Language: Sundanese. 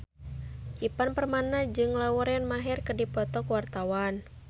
Ivan Permana jeung Lauren Maher keur dipoto ku wartawan